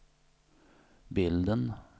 bilden